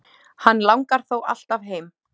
Hann langar þó alltaf heim.